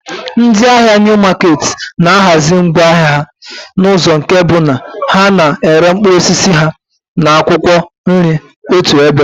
Ndị ahịa Niu maketi na-ahazi ngwá ahịa ha n'ụzọ nke bụ na ha na-ere mkpụrụ osisi ha na akwụkwọ nri otu ebe